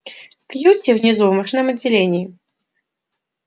кьюти внизу в машинном отделении